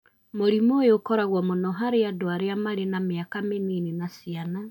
Mũrimũ ũyũ ũkoragwo mũno harĩ andũ arĩa marĩ na mĩaka mĩnini na ciana